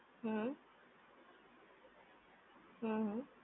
હમ્મ હમ્મ